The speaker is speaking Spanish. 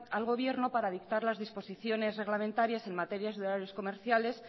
al gobierno para dictar las disposiciones reglamentarias en materias de horarios comerciales